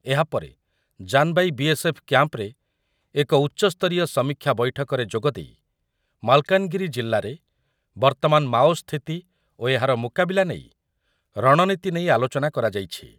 ଏହାପରେ Janbai B S F କ୍ୟାମ୍ପରେ ଏକ ଉଚ୍ଚସ୍ତରୀୟ ସମୀକ୍ଷା ବୈଠକରେ ଯୋଗ ଦେଇ ମାଲକାନଗିରି ଜିଲ୍ଲାରେ ବର୍ତମାନ ମାଓ ସ୍ଥିତି ଓ ଏହାର ମୁକବିଲା ନେଇ ରଣନିତି ନେଇ ଆଲୋଚନା କରାଯାଇଛି ।